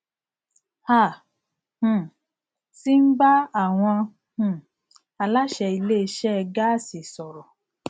a um ti ń bá àwọn um aláṣẹ ilé isẹ gáàsì sọrọ